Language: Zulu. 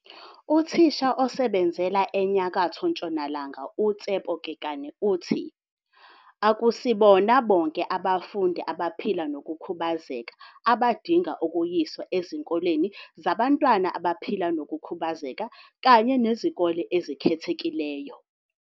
Uthisha osebenzela eNyakatho Ntshonalanga uTshepo Kekana uthi, "Akusibona bonke abafundi abaphila nokukhubazeka abadinga ukuyiswa ezikoleni zabantwana abaphila nokukhubazeka kanye nezikole ezikhethekileyo.